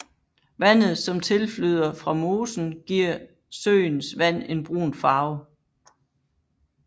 Vandet som tilflyder fra mosen giver søens vand en brun farve